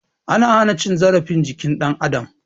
An hana cin zarafin jikin dan adam